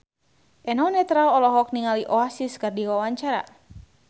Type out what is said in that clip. Eno Netral olohok ningali Oasis keur diwawancara